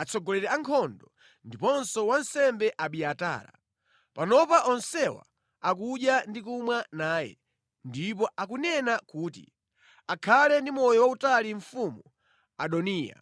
atsogoleri a nkhondo, ndiponso wansembe Abiatara. Panopa onsewa akudya ndi kumwa naye ndipo akunena kuti, ‘Akhale ndi moyo wautali mfumu Adoniya!’